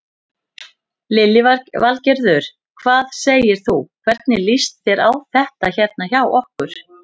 Lillý Valgerður: Hvað segir þú, hvernig líst þér á þetta hérna hjá okkur?